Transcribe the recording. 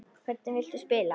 Hvernig viltu spila?